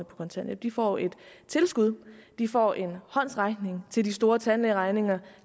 kontanthjælp de får et tilskud de får en håndsrækning til de store tandlægeregninger